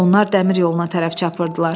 Onlar dəmir yoluna tərəf çapırdılar.